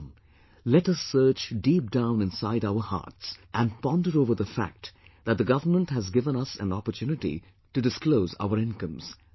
Come, let us search deep down inside our hearts, and ponder over the fact that the government has given us an opportunity to disclose our incomes